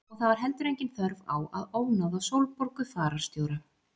Og það var heldur engin þörf á að ónáða Sólborgu fararstjóra.